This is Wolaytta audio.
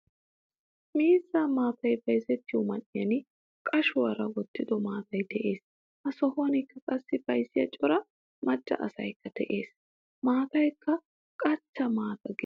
Miizzaa maataa bayzziyo man'iyan qashshuwaara wottido maataay de'ees. Ha sohuwankka qassi bayzziya cora macca asaykka de'ees. Maataykka qachcha maataa gidenan aggena.